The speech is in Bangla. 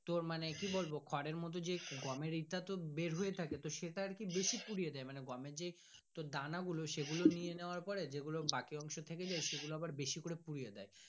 তো মানে কিবলবো খড়ের মতো গমের এটা তো বের হয়ে থাকে তো সেটা আরকি বেশি পুড়িয়ে দেয় মানে গমের যে দানাগুলো সেগুলো নিয়ে নেওর ফলে যেগুলো বাকি অংশ থাকে যাই সে গুলো আবার বেশি করে পুড়িয়ে দেয়।